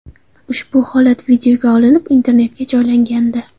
Ushbu holat videoga olinib, internetga joylangandi .